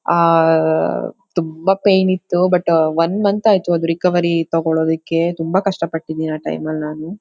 Ah ತುಂಬಾ pain ಇತ್ತು but uh one month ಆಯ್ತು ಅದ್ ರಿಕವರಿ ತಗೋಳೋದಿಕ್ಕೆ ತುಂಬಾ ಕಷ್ಟ ಪಟ್ಟಿದ್ದೇನೆ ಆ ಟೈಮಲ್ ನಾನು.